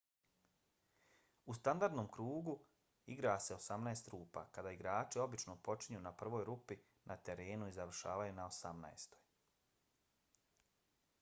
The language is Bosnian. u standardnom krugu igra se osamnaest rupa kada igrači obično počinju na prvoj rupi na terenu i završavaju na osamnaestoj